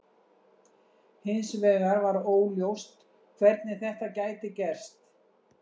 Hins vegar var óljóst hvernig þetta gæti gerst.